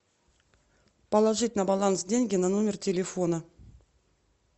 положить на баланс деньги на номер телефона